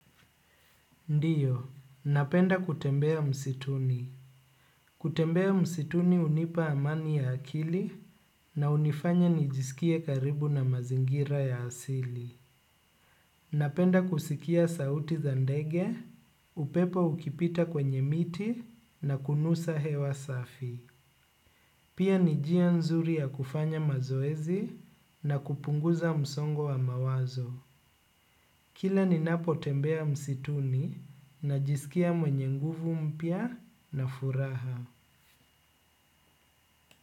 Ndiyo, napenda kutembea msituni. Kutembea msituni unipa amani ya akili na unifanya nijisikie karibu na mazingira ya asili. Napenda kusikia sauti zandege, upepo ukipita kwenye miti na kunusa hewa safi. Pia nijia nzuri ya kufanya mazoezi na kupunguza msongo wa mawazo. Kila ni napo tembea msituni na jisikia mwenye nguvu mpya na furaha.